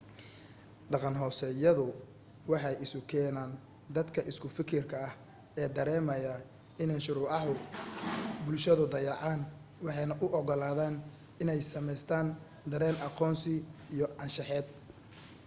dhaqan-hoosaadyadu waxay isu keenaan dadka isku fikirka ah ee dareemaya inay shuruucaha bulshadu dayaceen waxaanay u ogolaadaan inay samaystaan dareen aqoonsi iyo ahaansheed